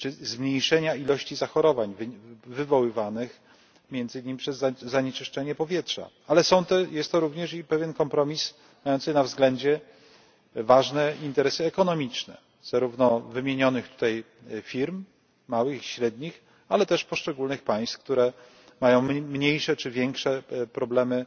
zmniejszenia ilości zachorowań wywoływanych między innymi przez zanieczyszczenie powietrza, ale jest to również i pewien kompromis mający na względzie ważne interesy ekonomiczne zarówno wymienionych tutaj firm małych i średnich, ale też poszczególnych państw, które mają mniejsze czy większe problemy